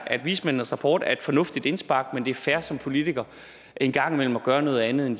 at vismændenes rapport er et fornuftigt indspark men at det er fair som politiker en gang imellem at gøre noget andet end